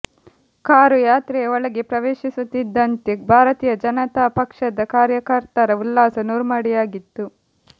car ಯಾತ್ರೆಯ ಒಳಗೆ ಪ್ರವೇಶಿಸುತ್ತಿದ್ದಂತೆ ಭಾರತೀಯ ಜನತಾ ಪಕ್ಷದ ಕಾರ್ಯಕರ್ತರ ಉಲ್ಲಾಸ ನೂರ್ಮಡಿಯಾಗಿತ್ತು